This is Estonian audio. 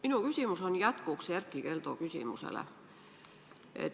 Minu küsimus on jätkuks Erkki Keldo küsimusele.